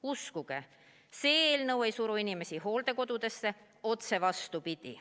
Uskuge, see eelnõu ei suru inimesi hooldekodudesse, otse vastupidi.